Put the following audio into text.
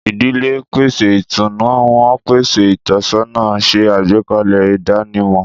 Ìdílé ń pèsè ìtùnú, wọ́n ń pèsè ìtọ́sọ́nà, ṣe àgbékalẹ̀ ìdánimọ̀.